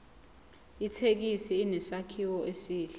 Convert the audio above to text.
ithekisi inesakhiwo esihle